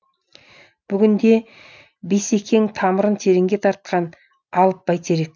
бүгінде бейсекең тамырын тереңге тартқан алып бәйтерек